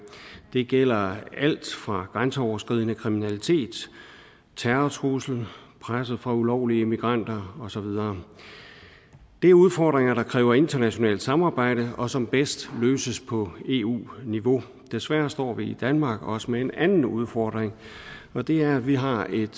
det gælder alt fra grænseoverskridende kriminalitet terrortrusler presset fra ulovlige immigranter og så videre det er udfordringer der kræver internationalt samarbejde og som bedst løses på eu niveau desværre står vi i danmark også med en anden udfordring og det er at vi har et